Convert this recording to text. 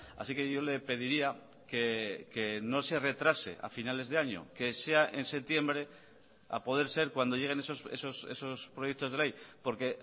así que yo le pediría que no se retrase a finales de año que sea en septiembre a poder ser cuando lleguen esos proyectos de ley porque